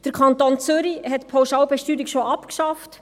Der Kanton Zürich hat die Pauschalbesteuerung bereits abgeschafft.